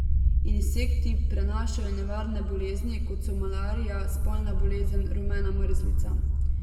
Insekti prenašajo nevarne bolezni, kot so malarija, spalna bolezen, rumena mrzlica.